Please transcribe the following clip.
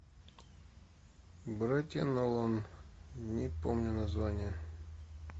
братья нолан не помню название